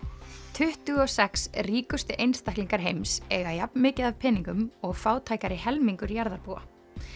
tuttugu og sex ríkustu einstaklingar heims eiga jafn mikið af peningum og fátækari helmingur jarðarbúa